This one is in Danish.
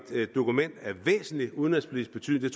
dokument af væsentlig udenrigspolitisk betydning